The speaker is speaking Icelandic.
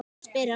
spyr Hanna.